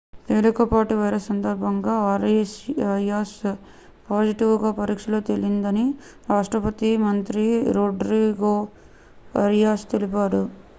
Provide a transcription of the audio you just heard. తేలికపాటి వైరస్ సందర్భంలో Arias positive గా పరీక్షలో తేలిందని రాష్ట్రపతి మంత్రి రోడ్రిగో అరియాస్ తెలిపారు